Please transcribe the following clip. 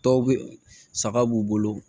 Dɔw bɛ saga b'u bolo